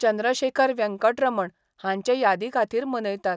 चंद्रशेखर व्यंकटरमण हांचे यादी खातीर मनयतात.